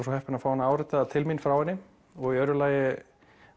svo heppinn að fá hana áritaða til mín frá henni og í öðru lagi